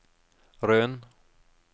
Røn